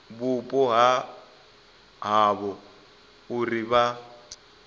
vhupo ha havho uri vha